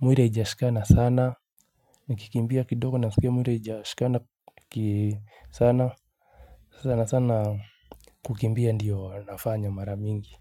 mwili haijashikana sana. Nikikimbia kidogo nasikia mwili haijashikana sana. Sasa sana sana kukimbia ndiyo nafanya mara mingi.